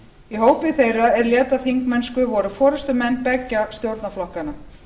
í hópi meira er létu af þingmennsku voru forustumenn beggja stjórnarflokkanna